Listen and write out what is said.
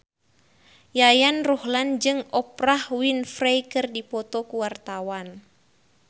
Yayan Ruhlan jeung Oprah Winfrey keur dipoto ku wartawan